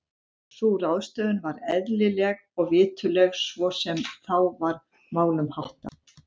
Sú ráðstöfun var eðlileg og viturleg svo sem þá var málum háttað.